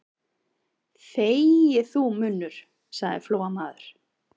Þegi þú, munnur, sagði Flóamaður.